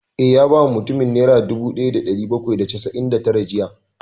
Eh, ya ba mutumin nera dubu ɗaya da ɗari bakwai da casa'in da tara jiya